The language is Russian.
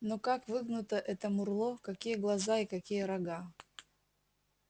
но как выгнуто это мурло какие глаза и какие рога